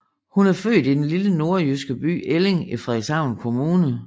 Hun er født i den lille nordjyske by Elling i Frederikshavn Kommune